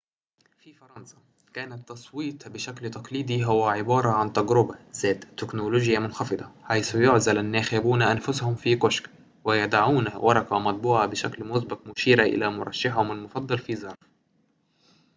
في فرنسا كان التصويت بشكل تقليدي هو عبارة عن تجربة ذات تكنولوجيا منخفضة حيث يعزل الناخبون أنفسهم في كشك ويضعون ورقة مطبوعة بشكل مسبق مشيرة إلى مرشحهم المفضل في ظرف